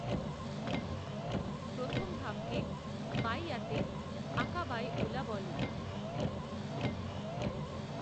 প্রথম ধাপকে বাইআতে আকাবায়ে ঊলা বলে।